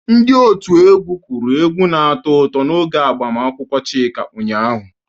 Ndị otu egwu kụru egwu na-atọ ụtọ n'oge agbamakwụkwọ Chika ụnyaahụ.